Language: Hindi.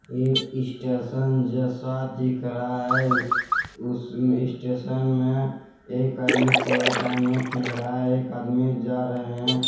एक स्टेशन जैसा दिख रहा है। उस स्टेशन में एक आदमी कूड़ादान में फेंक रहा है एक आदमी जा रहे हैं।